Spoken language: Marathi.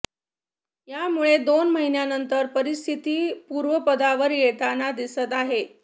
यामुळे दोन महिन्यांनंतर परिस्थिती पूर्वपदावर येताना दिसत आहे